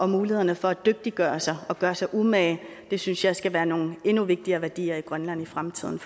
mulighederne for at dygtiggøre sig og gøre sig umage synes jeg skal være nogle endnu vigtigere værdier i grønland i fremtiden